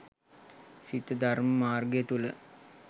සිත ධර්ම මාර්ගය තුළ